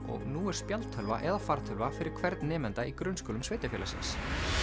og nú er spjaldtölva eða fartölva fyrir hvern nemanda í grunnskólum sveitarfélagsins